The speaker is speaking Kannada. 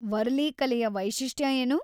ವರ್ಲಿ ಕಲೆಯ ವೈಶಿಷ್ಟ್ಯ ಏನು?